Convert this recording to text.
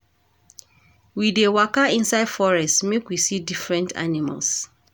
We dey waka inside forest make we see different animals.